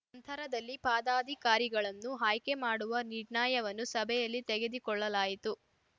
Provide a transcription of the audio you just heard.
ನಂತರದಲ್ಲಿ ಪಾದಾಧಿಕಾರಿಗಳನ್ನು ಆಯ್ಕೆ ಮಾಡುವ ನಿರ್ಣಯವನ್ನು ಸಭೆಯಲ್ಲಿ ತೆಗೆದಿಕೊಳ್ಳಲಾಯಿತು